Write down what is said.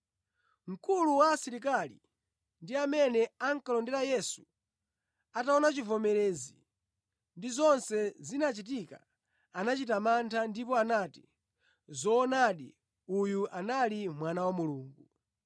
Mkulu wa asilikali ndi amene ankalondera Yesu ataona chivomerezi ndi zonse zinachitika, anachita mantha, ndipo anati, “Zoonadi, uyu anali Mwana wa Mulungu!”